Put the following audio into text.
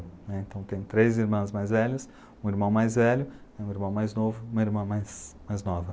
Então, tem três irmãs mais velhas, um irmão mais velho, um irmão mais novo e uma irmã mais, mais nova.